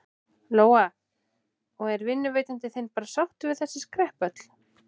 Lóa: Og er vinnuveitandi þinn bara sáttur við þessi skrepp öll?